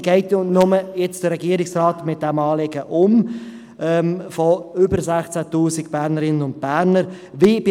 Wie geht jetzt der Regierungsrat mit diesem Anliegen von über 16 000 Bernerinnen und Bernern um?